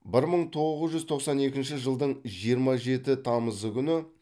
бір мың тоғыз жүз тоқсан екінші жылдың жиырма жеті тамызы күні